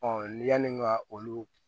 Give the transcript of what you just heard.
yanni ka olu